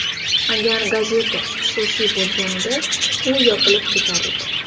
Agar gazeta xususiy bo‘lganida u yopilib ketar edi.